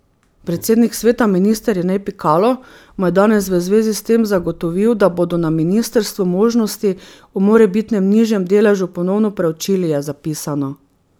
Predsednik sveta, minister Jernej Pikalo mu je danes v zvezi s tem zagotovil, da bodo na ministrstvu možnosti o morebitnem nižjem deležu ponovno preučili, je zapisano.